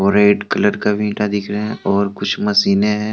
Red colour का भी ईटा दिख रहा है और कुछ मशीने है।